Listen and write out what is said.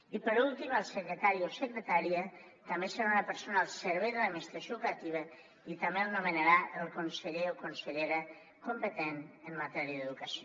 i per últim el secretari o secretària també serà una persona al servei de l’administració educativa i també el nomenarà el conseller o consellera competent en matèria d’educació